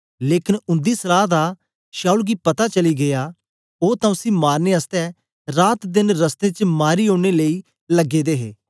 लेकन उंदी सलाह दा शाऊल गी पता चली गीया ओ तां उसी मारने आसतै रात देन रस्तें च मारी ओड़ने लेई लगे दे हे